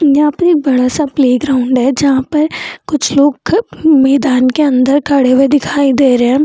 यहां पर एक बड़ा-सा प्लेग्राउंड है जहां पर कुछ लोग मैदान के अंदर खड़े हुए दिखाई दे रहे है।